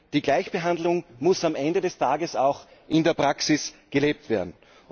Die Gleichbehandlung muss am Ende des Tages auch in der Praxis gelebt werden.